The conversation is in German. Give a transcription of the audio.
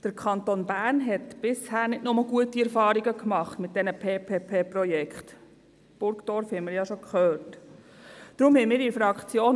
Der Kanton Bern hat bisher nicht nur gute Erfahrungen mit den PPP-Projekten gemacht.